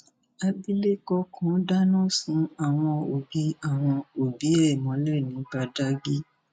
àbílẹkọ kan dáná sun àwọn òbí àwọn òbí ẹ mọlẹ ní badágí